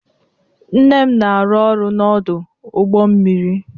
Nne m na-arụ ọrụ n'ọdụ ụgbọ mmiri.